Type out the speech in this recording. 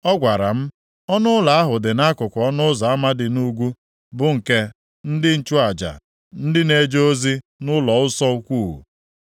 Ọ gwara m, “Ọnụụlọ ahụ dị nʼakụkụ ọnụ ụzọ ama dị nʼugwu bụ nke ndị nchụaja, ndị na-eje ozi nʼụlọnsọ ukwu.